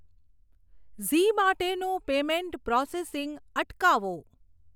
ઝી માટેનું payment processing અટકાવો.